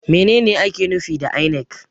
Menene ake nufi da INEC?